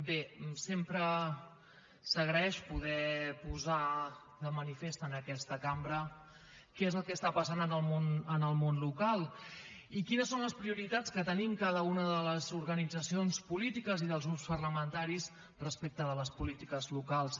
bé sempre s’agraeix poder posar de manifest en aquesta cambra què és el que està passant en el món local i quines són les prioritats que tenim cada una de les organitzacions polítiques i dels grups parlamentaris respecte de les polítiques locals